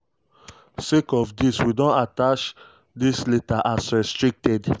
"sake of dis we don attach dis letter as restricted."